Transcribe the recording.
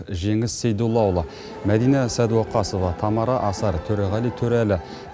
жеңіс сейдоллаұлы мәдина сәдуақасова тамара асар төреғали төреәлі